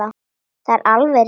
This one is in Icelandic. Það er alveg rétt.